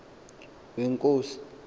wenkosi